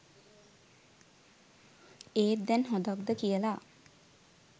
ඒත් දැන් හොදක්ද කියලා